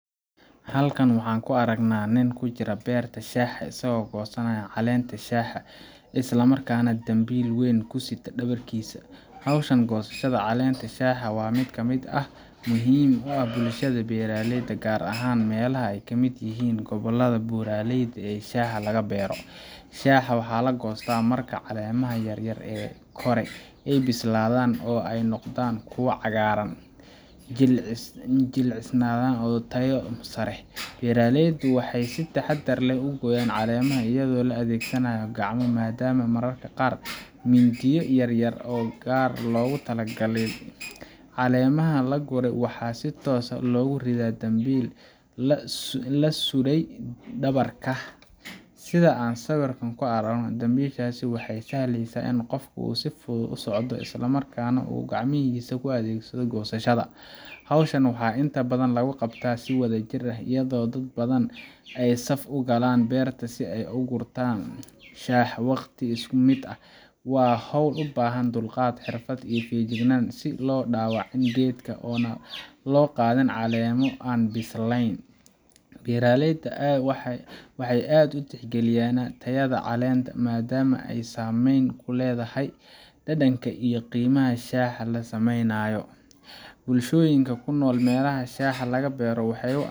Halkan waxaan ku aragnaa nin ku jira beerta shaaha, isaga oo goosanaya caleenta shaaha isla markaana dambiil weyn ku sita dhabarkiisa. Hawshan goosashada caleenta shaaha waa mid muhiim u ah bulshada beeraleyda ah, gaar ahaan meelaha ay ka mid yihiin gobollada buuraleyda ah ee shaaha laga beero. Shaaha waxaa laga goostaa marka caleemaha yaryar ee kore ay bislaadaan oo ay noqdaan kuwo cagaaran, jilicsan oo leh tayo sare. Beeraleyda waxay si taxaddar leh u gooyaan caleemaha iyadoo la adeegsanayo gacmo madhan ama mararka qaar mindiyo yaryar oo si gaar ah loogu tala galay. Caleemaha la gurayo waxaa si toos ah loogu ridaa dambiil la sudhay dhabarka, sida aan sawirka ku aragno. Dambiishan waxay u sahlaysaa qofka inuu si fudud u socdo, isla markaana uu gacmahiisa u adeegsado goosashada. Hawshan waxaa inta badan lagu qabtaa si wadajir ah, iyadoo dad badan ay saf u galaan beerta si ay u gurtaan shaaha waqti isku mid ah. Waa hawl u baahan dulqaad, xirfad iyo feejignaan si aan loo dhaawicin geedka ama aan loo qaadin caleemo aan bislaan. Beeraleyda waxay aad u tixgeliyaan tayada caleenta, maadaama ay saameyn ku leedahay dhadhanka iyo qiimaha shaaha la sameynayo. Bulshooyinka ku nool meelaha shaaha laga beero waxay